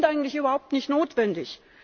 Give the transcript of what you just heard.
Die sind eigentlich überhaupt nicht notwendig.